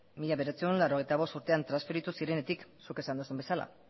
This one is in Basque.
mila bederatziehun eta laurogeita bost urtean transferitu zirenetik zuk esan duzun bezala